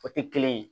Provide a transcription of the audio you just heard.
O tɛ kelen ye